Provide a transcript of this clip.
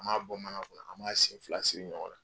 An b'a bɔ mana kɔnɔ, an b'a sen fila siri ɲɔgɔn na.